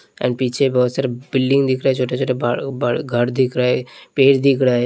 And पीछे बहोत सारा बिल्डिंग दिख रहा है छोटा-छोटा घर दिख रहा है पेज दिख रहा है।